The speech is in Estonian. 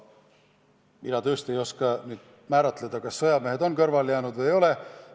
Ma tõesti ei oska öelda, kas sõjamehed on kõrvale jäänud või ei ole.